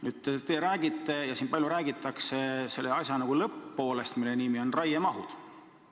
Nüüd, te räägite – ja siin on teisedki palju rääkinud – selle asja lõpp-poolest, milleks on raiemahud.